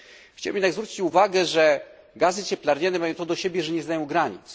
Chciałbym jednak zwrócić uwagę, że gazy cieplarniane mają to do siebie, że nie znają granic.